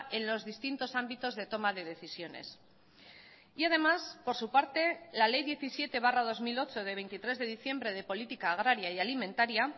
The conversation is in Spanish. en los distintos ámbitos de toma de decisiones y además por su parte la ley diecisiete barra dos mil ocho de veintitrés de diciembre de política agraria y alimentaria